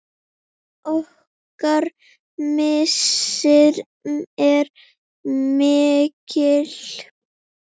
Okkar missir er mikill.